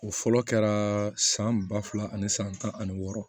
O fɔlɔ kɛra san ba fila ani san tan ani wɔɔrɔ